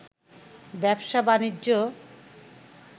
ব্যবসা-বাণিজ্য